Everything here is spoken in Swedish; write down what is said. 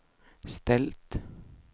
ställt